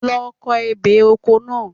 Lọ ko ebè oko náà.